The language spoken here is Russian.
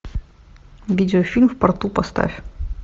видеофильм в порту поставь